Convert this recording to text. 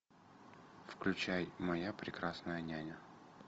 включай моя прекрасная няня